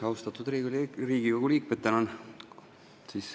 Austatud Riigikogu liikmed!